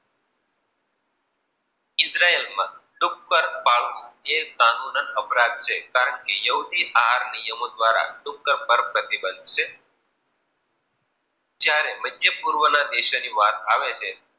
માં ડુક્કર પાળવું એ કાનૂની અપરાધ છે કારણ કે યહૂદી આહાર નિયમો દ્વારા ડુક્કર પર પ્રતિબંધ છે. જ્યારે મધ્ય પૂર્વના દેશોની વાત આવે છે